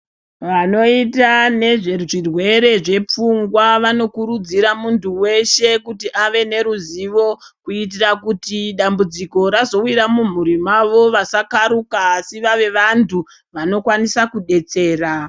Vanoita nezvezvirwere zvepfungwa vanokurudzira mundu weshe kuti ave neruzivo kuitira kuti dambudziko razowira mumhuri wavo vasakaruka asi vave vandu vanokwanisa kubetsera.